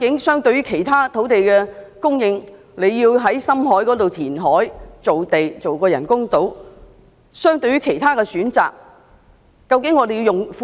相對其他土地供應選項，在深海填海造地興建人工島要耗用多少公帑？